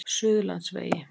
Suðurlandsvegi